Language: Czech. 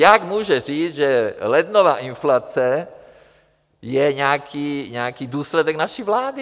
Jak může říct, že lednová inflace je nějaký důsledek naší vlády?